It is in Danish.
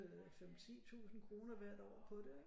5 10 tusind kroner hvert år på det ikke